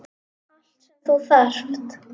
Allt sem þú þarft.